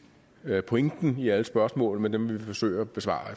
pointen i alle spørgsmålene men vi vil forsøge at besvare